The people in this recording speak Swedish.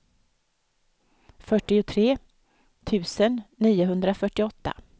fyrtiotre tusen niohundrafyrtioåtta